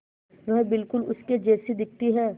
वह बिल्कुल उसके जैसी दिखती है